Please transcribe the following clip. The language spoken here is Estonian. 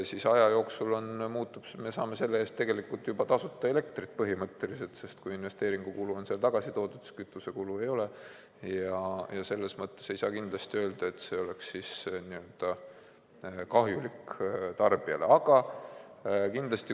Aja jooksul me saame selle eest tegelikult juba tasuta elektrit põhimõtteliselt, sest kui investeeringukulu on tagasi toodud, siis kütusekulu ei ole, ja selles mõttes ei saa kindlasti öelda, et see oleks tarbijale kahjulik.